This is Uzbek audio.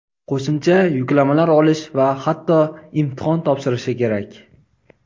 qo‘shimcha yuklamalar olish va hatto imtihon topshirishi kerak.